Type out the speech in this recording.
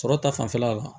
Sɔrɔ ta fanfɛla la